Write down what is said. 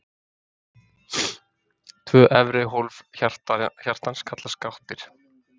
Tvö efri hólf hjartans kallast gáttir.